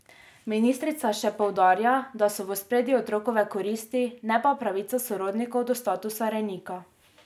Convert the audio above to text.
Ministrica še poudarja, da so v ospredju otrokove koristi, ne pa pravica sorodnikov do statusa rejnika.